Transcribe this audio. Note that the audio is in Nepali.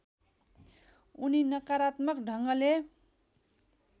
उनी नकारात्मक ढङ्गले